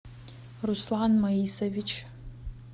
руслан маисович